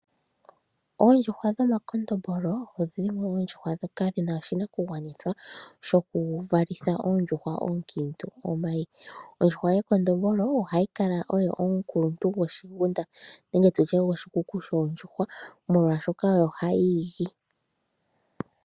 Oondjuhwa dhomakondombolo odhi na oshinakugwanithwa shokuvalitha oondjuhwa oonkiintu omayi. Ondjuhwa yekondombolo ohayi kala oyo omukuluntu goshikuku shoondjuhwa molwashoka ohayi igi.